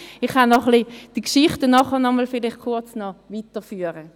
Ich kann die Geschichten vielleicht nachher kurz noch weiterführen.